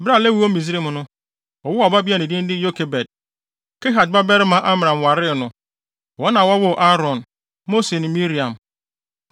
Bere a Lewi wɔ Misraim no, wɔwoo ɔbabea a ne din de Yokebed. Kehat babarima Amram waree no. Wɔn na wɔwoo Aaron, Mose ne Miriam.